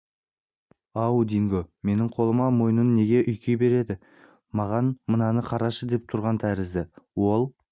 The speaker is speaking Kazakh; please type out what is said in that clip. ау динго менің қолыма мойнын неге үйкей береді маған мынаны қарашы деп тұрған тәрізді ол